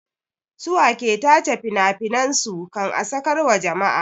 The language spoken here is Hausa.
Su wa ke tace finafinan su kan a sakar wa jama'a?